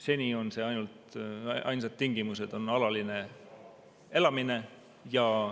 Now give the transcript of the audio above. Seni on ainsad tingimused olnud järgmised: alaline elamine ja vanus.